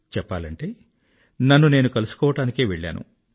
చెప్పాలంటే నన్ను నేను కలుసుకోవడానికే వెళ్ళాను